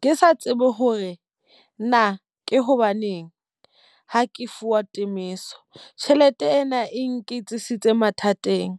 Ke sa tsebe hore na ke hobaneng ha ke fuwa temohiso. Tjhelete ena e nketsisitse mathateng.